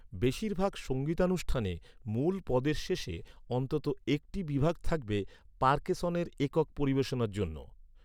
বেশিরভাগ সঙ্গীতানুষ্ঠানে, মূল পদের শেষে অন্তত একটি বিভাগ থাকবে পার্কেসনের একক পরিবেশনার জন্য।